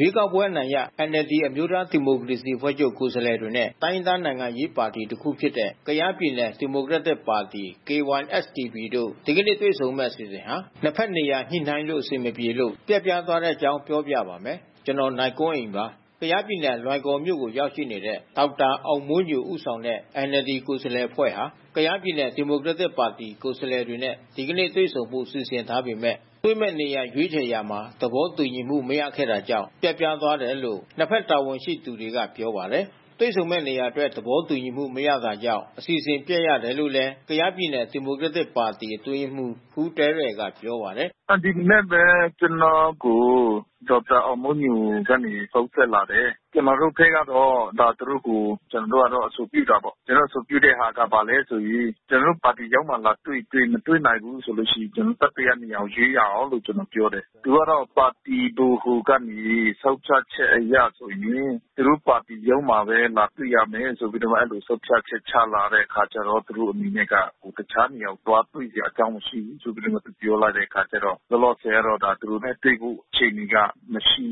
ရွေးကောက်ပွဲ အနိုင်ရ NLD အမျိုးသားဒီမိုကရေစီအဖွဲ့ချုပ် ကိုယ်စားလှယ်တွေနဲ့ တိုင်းရင်းသား နိုင်ငံရေးပါတီတခု ဖြစ်တဲ့ ကယားပြည်နယ် ဒီမိုကရက်တစ်ပါတီ (KySDP) တို့ ဒီကနေ့ တွေ့ဆုံမယ့် အစီအစဉ်ဟာ နှစ်ဘက်နေရာညှိနှိုင်းလို့ အဆင်မပြေလို့ ပျက်ပြားသွားတဲ့အကြောင်းကို ဗွီအိုအေမြန်မာပိုင်း သတင်းထောက် ကိုနိုင်ကွန်းအိန်က ပြောပြပေးပါမယ်။ ကယားပြည်နယ် လွိုင်ကော်မြို့ကို ရောက်နေတဲ့ ဒေါက်တာအောင်မိုးညို ဦးဆောင်တဲ့ NLD ကိုယ်စားလှယ်အဖွဲ့ဟာ ကယားပြည်နယ် ဒီမိုကရက်တစ်ပါတီ ကိုယ်စားလှယ်တွေနဲ့ ဒီကနေ့တွေ့ဆုံဖို့ စီစဉ်ထားပေမဲ့ တွေ့မယ့်နေမယ့်နေရာ ရွေးချယ်ရာမှာ သဘောတူညီမှု မရခဲ့တာကြောင့် ပျက်ပြားသွားတယ်လို့ နှစ်ဘက်တာဝန်ရှိသူတွေက ပြောပါတယ်။ တွေ့ဆုံမယ့်နေရာအတွက် သဘောတူညီမှု မရတာကြောင့် အစီအစဉ်ပျက်ခဲ့ရတာလို့လည်း ကယားပြည်နယ် ဒီမိုကရက်တစ်ပါတီ အတွင်းရေးမှူး ခူးသဲရယ်ကပြောပါတယ်။ “ဒီမနက်ပဲ ကျနော်ကို ဒေါက်တာအောင်မိုးညိုက ဖုန်းဆက်လာတယ်။ ကျနော်တို့ဘက်ကတော့ သူတို့ကို အဆိုပြု တာပေါ့။ ကျနော်တို့ ပါတီရုံးမှာ လာတွေ့ရင်တွေ့ မတွေ့နိုင်ဘူးဆိုရင် ကျနော်တို့ တတိယနေရာကို ရွေးရအောင်လို့ ကျနော် ပြောတယ်။ သူကတော့ပါတီဗဟိုကနေ ဆုံးဖြတ်ချက်အရဆိုရင် သူတို့ ပါတီရုံးမှာပဲ လာတွေ့ရမယ်ဆိုပြီးတော့မှ အဲဒီလို ဆုံးဖြတ်ချက်ချလာတဲ့အခါကျတော့ သူတို့အနေနဲ့က တခြားနေရာကို သွားတွေ့စရာအကြောင်း မရှိဘူး ဆိုပြီးတော့မှ သူပြောလိုက်တဲ့အခါကျတော့ လောလောဆယ်ကတော့ ကျနော်တို့နဲ့တွေ့ဖို့ အခြေအနေက မရှိ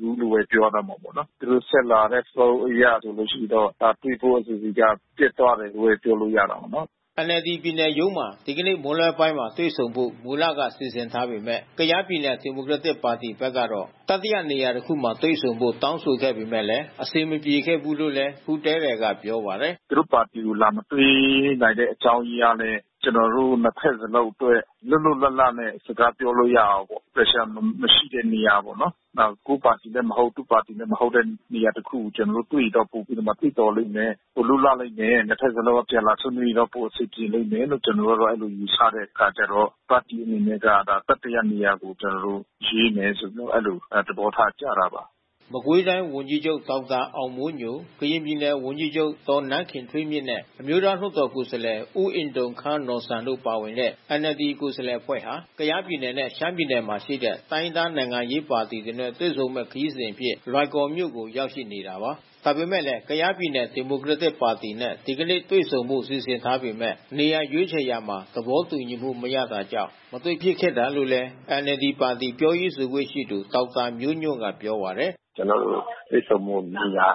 ဘူးလို့ဘဲ ပြောရတော့မှာပေါ့နော်။ သူတို့ဆက်လာတဲ့ဖုန်းအရဆိုလို့ရှိရင်တော့ တွေ့ဖို့ အခြေအနေက ပျက်သွားတယ်လို့ပဲ ပြောလို့ရတာပေါ့နော်။” NLD ပြည်နယ်ရုံးမှာ ဒီကနေ့မွန်းလွဲပိုင်း တွေ့ဆုံဖို့ မူလက စီစဉ်ထားပေမဲ့ ကယား ပြည်နယ်ဒီမိုကရက်တစ်ပါတီဘက်ကတော့ တတိယနေရာတခုမှာ တွေ့ဆုံဖို့ တောင်းဆိုခဲ့ပေမဲ့ အဆင်မပြေခဲ့ဘူးလို့လည်း ခူးသဲရယ်က ပြောပါတယ်။ “သူတို့ပါတီကို လာမတွေ့နိုင်တဲ့ အကြောင်းအရင်းကလည်း ကျနော်တို့ နှစ်ဘက်စလုံးအတွက် လွတ်လွတ်လပ်လပ်နဲ့ စကားပြောလို့ရအောင်ပေါ့။ Pressure မရှိတဲ့နေရာပေါ့နော်။ ကိုယ့်ပါတီလည်း မဟုတ်၊ သူ့ပါတီလည်း မဟုတ်တဲ့ နေရာတခုကို ကျနော်တို့ တွေ့ရင်တော့ ပိုပြီးတော့သင့်တော်လိမ့်မယ်။ ပိုလွတ်လပ်လိမ့်မယ်။ နှစ်ဘက်စလုံးအပြန်အလှန် ဆွေးနွေးရင်တော့ ပိုအဆင်ပြေလိမ့်မယ်လို့ ကျနော်တို့ကတော့ အဲဒီလိုယူဆတဲ့အခါကျတော့ ပါတီအနေနဲ့က တတိယနေရာကို ကျနော်တို့ ရွေးမယ်ဆိုပြီးတော့ အဲဒီလိုသဘောထားကျတာပါ။” မကွေးတိုင်းဝန်ကြီးချုပ် ဒေါက်တာအောင်မိုးညို၊ ကရင်ပြည်နယ်ဝန်ကြီးချုပ် ဒေါ်နန်းခင်ထွေးမြင့်နဲ့ အမျိုးသားလွှတ်တော်ကိုယ်စားလှယ် ဦးအင်ထုံခါးနော်ဆန် တို့ပါဝင်တဲ့ NLD ကိုယ်စားလှယ်အဖွဲ့ဟာ ကယားပြည်နယ်နဲ့ ရှမ်းပြည်နယ်မှာရှိတဲ့ တိုင်းရင်းသား နိုင်ငံရေးပါတီတွေနဲ့ တွေ့ဆုံမယ့် ခရီးစဉ်အဖြစ် လွိုင်ကော်မြို့ကို ရောက်ရှိနေတာပါ။ ဒါပေမဲ့လည်း ကယားပြည်နယ် ဒီမိုကရက်တစ်ပါတီနဲ့ ဒီကနေ့ တွေ့ဆုံဖို့ စီစဉ်ထားပေမဲ့ နေရာရွေးချယ်ရာမှာ သဘောတူညီမှု မရတာကြောင့် မတွေ့ဖြစ်ခဲ့တာလို့လည်း NLD ပါတီ ပြောရေးဆိုခွင့်ရှိသူဒေါက်တာမျိုးညွန့်က ပြောပါတယ်။ “ကျနော်တို့ တွေ့ဆုံဖို့နေရာ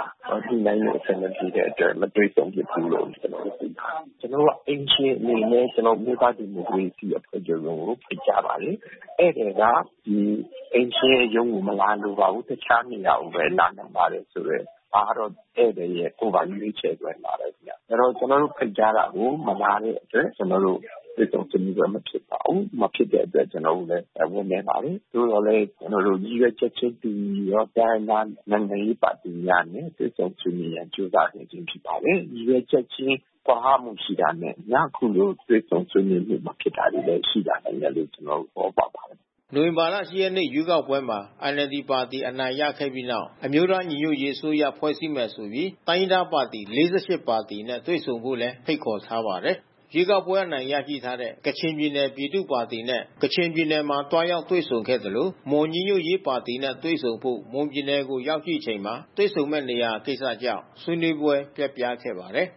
ညှိနှိုင်းလို့ အဆင်မပြေတဲ့အတွက် မတွေ့ဆုံနိုင်ဖို့ ကျနော်တို့ သိထားပါတယ်။ ကျနော်တို့က အိမ်ရှင်အနေနဲ့ အမျိုးသားဒီမိုကရေစီအဖွဲ့ချုပ်ရုံးကို ဖိတ်ကြားပါတယ်။ ဧည့်သည်ကအိမ်ရှင်ရဲ့ ရုံးကို မလာလိုပါဘူး။ တခြားနေရာကိုပဲ လာလိုပါတယ်ဆိုတဲ့ ဒါကတော့ ဧည့်သည်ရဲ့ ကိုယ်ပိုင် ရွေးချယ်နိုင်ပါတယ်ခင်ဗျ။ ကျနော်တို့ ဖိတ်ကြားတာကို မလာတဲ့အတွက် ကျနော်တို့ တွေ့ဆုံဆွေးနွေးပွဲမဖြစ်ပါဘူး။ မဖြစ်တဲ့အတွက်ကျနော်တို့လည်း ဝမ်းနည်းပါတယ်။ သို့သော်လည်း ကျနော်တို့ ရည်ရွယ်ချက်ချင်း တူညီသောတိုင်းရင်းသား နိုင်ငံရေးပါတီများနဲ့ တွေ့ဆုံဆွေးနွေးနိုင်ရန် ကြိုးစားနေခြင်းဖြစ်ပါတယ်။ ရည်ရွယ်ချက်ချင်း ကွာဟမှုရှိတာနဲ့ အခုလို တွေ့ဆုံဆွေးနွေးမှု မဖြစ်တာတွေလည်း ရှိလာနိုင်တယ်လို့ ကျနော်တို့ သဘောပေါက်ပါတယ်။” နိုဝင်ဘာလ ၈ ရက်နေ့ ရွေးကောက်ပွဲမှာ NLD ပါတီ အနိုင်ရခဲ့ပြီးနောက် အမျိုးသား ညီညွတ်ရေး အစိုးရဖွဲ့စည်းမယ်ဆိုပြီး တိုင်းရင်းသားပါတီ ၄၈ ပါတီနဲ့ ဆွေးနွေးဖို့လည်း ဖိတ်ခေါ်ထားပါတယ်။ ရွေးကောက်ပွဲအနိုင်ရထားတဲ့ ကချင်ပြည်နယ် ပြည်သူ့ပါတီနဲ့ ကချင်ပြည်နယ်မှာ သွားရောက်တွေ့ဆုံခဲ့သလို၊ မွန်ညီညွတ်ရေးပါတီနဲ့ တွေ့ဆုံဖို့ မွန်ပြည်နယ်ကိုရောက်ရှိချိန်မှာ တွေ့ဆုံမယ့်နေရာကိစ္စကြောင့် ဆွေးနွေးပွဲ ပျက်ခဲ့ပါတယ်